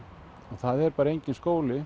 og það er bara enginn skóli